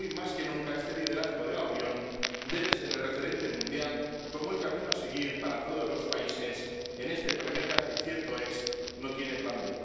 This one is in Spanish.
Y, hoy más que nunca, este liderazgo de la Unión debe ser el referente mundial como el camino a seguir para todos los países en este planeta, que —cierto es— no tiene plan B.